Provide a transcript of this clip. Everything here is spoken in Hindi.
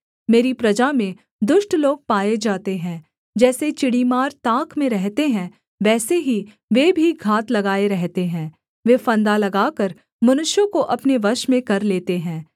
मेरी प्रजा में दुष्ट लोग पाए जाते हैं जैसे चिड़ीमार ताक में रहते हैं वैसे ही वे भी घात लगाए रहते हैं वे फंदा लगाकर मनुष्यों को अपने वश में कर लेते हैं